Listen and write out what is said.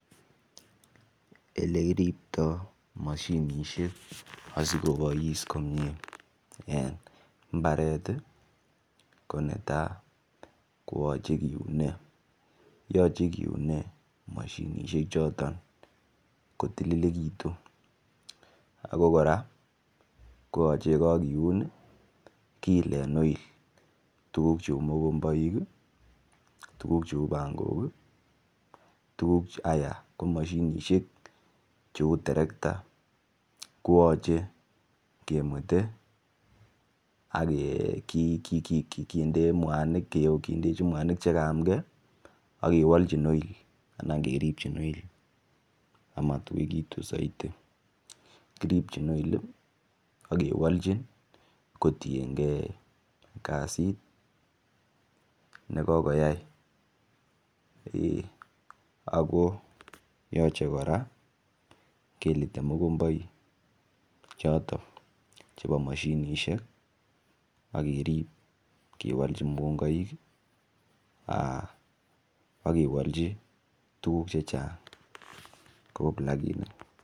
Elekiriptoi mashinishek asikobois komie en mbaret ko netai koyochei kiunei yoche kiunei mashinishek choton kotililekitu ako kora koyochei kakiun kiilen oil tuguk cheu mukomboik tuguk cheu pangok ko mashinishek cheu terekta koyochei kemwete akende mwanik kindechi mwanik chikayamke akiwolchin oil anan kiripchin oil amatuikitu saidi kiripchin oil akewolchi kotienkei ak kasit nekokoyai ako yochei kora kelitei mokomboik choto chebo mashinishek akerip kewolchi mukomboik akewolchi tuguk chechang kou plakinik